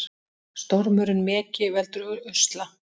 Stormurinn Megi veldur usla